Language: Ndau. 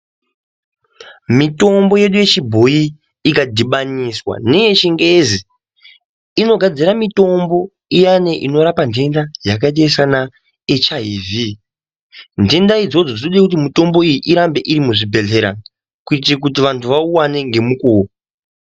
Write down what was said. Mitombo yedu yechibhoyi ikadhibaniswa neyechingezi, inogadzira mitombo iyani inorapa ntenda dzakaite seana HIV.Ntenda idzodzo dzinode kuti mitomboyi irambe iri muzvibhedhlera ,kuitire kuti vantu vauwane ngemukuwo.